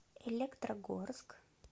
электрогорск